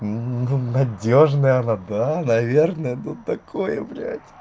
ну надёжная вода наверное тут такое блядь